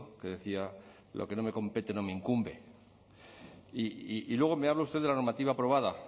que decía lo que no me compete no me incumbe y luego me habla usted de la normativa aprobada